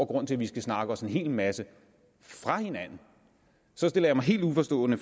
grund til at vi skal snakke os en hel masse fra hinanden så stiller jeg mig helt uforstående